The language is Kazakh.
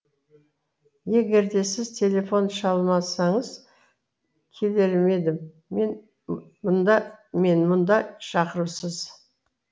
егер де сіз телефон шалмасаңыз келермедім мен мұнда шақырусыз